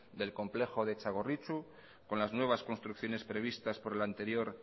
del complejo de txagorritxu con las nuevas construcciones previstas por el anterior